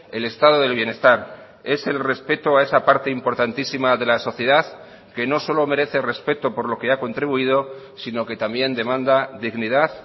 el estado del bienestar es el respeto a esa parte importantísima de la sociedad que no solo merece respeto por lo que ha contribuido sino que también demanda dignidad